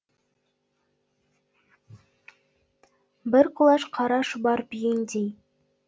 бір құлаш қара шұбар бүйендей